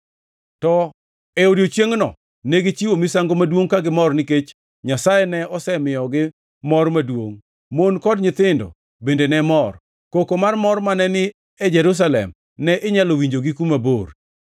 To e odiechiengno negichiwo misango maduongʼ ka gimor nikech Nyasaye ne osemiyogi mor maduongʼ. Mon kod nyithindo bende ne mor. Koko mar mor mane ni e Jerusalem ne inyalo winjo gi kuma bor.